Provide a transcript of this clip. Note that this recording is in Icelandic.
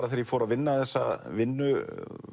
þegar ég fór að vinna þessa vinnu